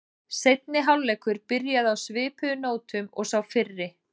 Seinni hálfleikur byrjaði á svipuðu nótum og sá fyrri.